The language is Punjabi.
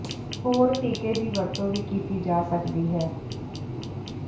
ਹੋਰ ਟੀਕੇ ਦੀ ਵਰਤੋਂ ਵੀ ਕੀਤੀ ਜਾ ਸਕਦੀ ਹੈ